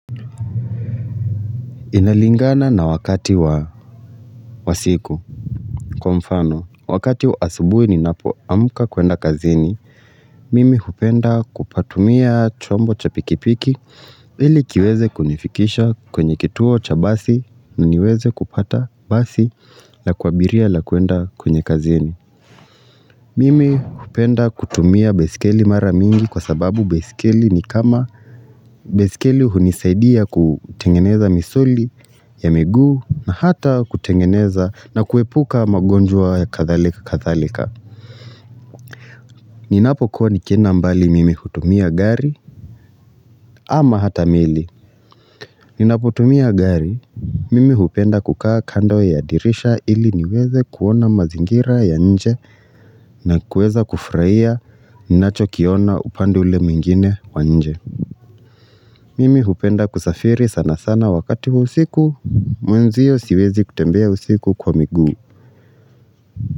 Inalingana na wakati wa siku. Kwa mfano, wakati wa asubuhi ninapoamka kwenda kazini, mimi hupenda kupatumia chombo cha pikipiki, ili kiweze kunifikisha kwenye kituo cha basi na niweze kupata basi la kuabiria la kuenda kwenye kazini. Mimi hupenda kutumia baiskeli mara mingi kwa sababu baiskeli hunisaidia kutengeneza misuli ya miguu na hata kutengeneza na kuepuka magonjwa ya kadhalika kadhalika. Ninapokuwa nikienda mbali mimi hutumia gari ama hata meli. Ninapotumia gari, mimi hupenda kukaa kando ya dirisha ili niweze kuona mazingira ya nje na kueza kufurahia ninachokiona upande ule mwingine wa nje. Mimi hupenda kusafiri sana sana wakati wa usiku, mwenzio siwezi kutembea usiku kwa miguu.